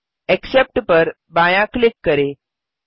accept पर बायाँ click करें